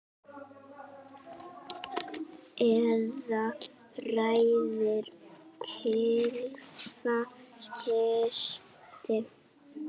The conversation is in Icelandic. Eða ræður kylfa kasti?